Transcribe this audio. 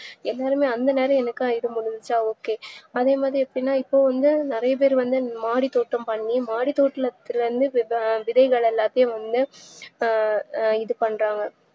எந்தநேரம் ok அதேமாறி எப்டினா இப்போவந்து நறையபேர் வந்து மாடித்தோட்டம் பண்ணி மாடித்தோட்டத்துல விதைகள் எல்லாததையும் வந்து அஹ் அஹ் இதுபண்றாங்க